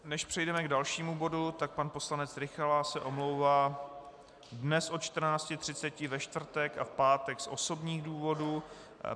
Než přejdeme k dalšímu bodu, tak pan poslanec Rykala se omlouvá dnes od 14.30, ve čtvrtek a v pátek z osobních důvodů.